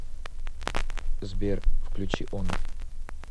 сбер включи онр